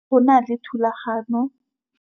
Go na le thulanô